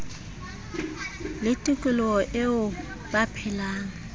le tikoloho eo ba phelang